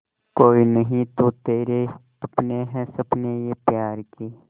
कोई नहीं तो तेरे अपने हैं सपने ये प्यार के